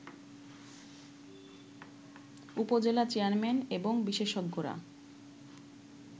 উপজেলা চেয়ারম্যান এবং বিশেষজ্ঞরা